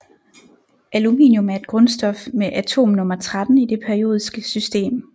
Aluminium er et grundstof med atomnummer 13 i det periodiske system